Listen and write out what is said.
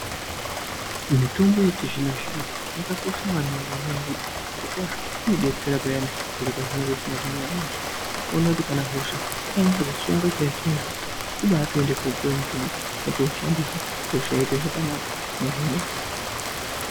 Mitombo yechizvinozvino yakakosha maningi ngenyaya yekuti zvirokwazvo inodetsera payani zviro pezvinenge zvisina kumira mushe. Unotoone kuti kana hosha yakanase kusunga chaizvo chaizvo kubaatoende koopuwe mutombo mwotoushandisa hosha yoite zvakanaka mwohinika.